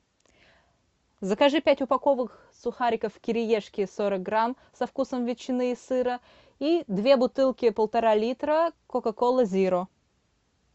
закажи пять упаковок сухариков кириешки сорок грамм со вкусом ветчины и сыра и две бутылки полтора литра кока кола зеро